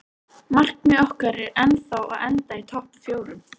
Markmið okkar er ennþá að enda í topp fjórum.